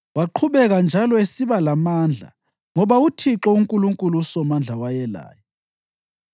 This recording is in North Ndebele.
Waqhubeka njalo esiba lamandla ngoba uThixo uNkulunkulu uSomandla wayelaye.